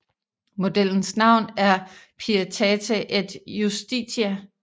Modellens navn er Pietate et justitia